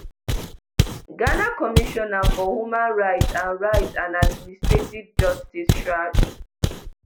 ghana commissioner for human rights and rights and administrative justice chraj